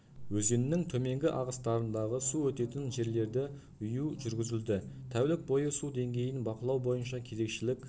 өзеннің төменгі ағыстарындағы су өтетін жерлерді үю жүргізілді тәулік бойы су деңгейін бақылау бойынша кезекшілік